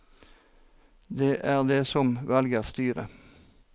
Det er de som velger styre.